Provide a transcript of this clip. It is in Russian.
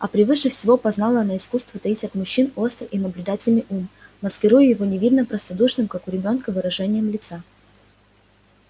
а превыше всего познала она искусство таить от мужчин острый и наблюдательный ум маскируя его невинно-простодушным как у ребёнка выражением лица